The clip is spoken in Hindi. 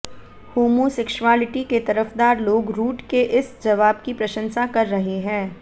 होमोसेक्सुअल्टी के तरफदार लोग रूट के इस जवाब की प्रशंसा कर रहे हैं